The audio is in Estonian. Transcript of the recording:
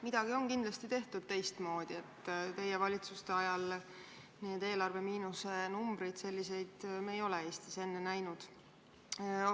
Midagi on kindlasti tehtud teistmoodi, sest teie valitsuste ajal on tekkinud eelarve miinusenumbrid, selliseid me ei ole Eestis enne näinud.